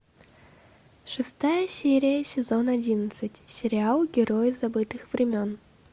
шестая серия сезон одиннадцать сериал герои забытых времен